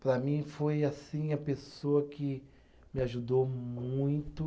Para mim foi assim, a pessoa que me ajudou muito.